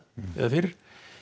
eða fyrr